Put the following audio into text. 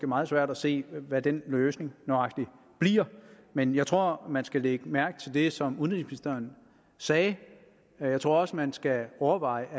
meget svært se hvad den løsning nøjagtig bliver men jeg tror man skal lægge mærke til det som udenrigsministeren sagde og jeg tror også man skal overveje om